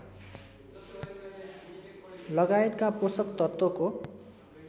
लगायतका पोषक तत्त्वको